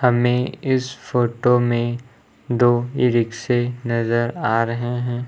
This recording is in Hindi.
हमें इस फोटो में दो ई-रिक्शें नजर आ रहे हैं।